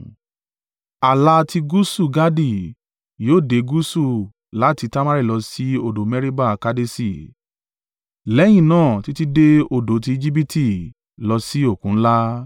Ààlà tí gúúsù Gadi yóò dé gúúsù láti Tamari lọ sí odò Meriba Kadeṣi lẹ́yìn náà títí dé odo ti Ejibiti lọ sí Òkun ńlá.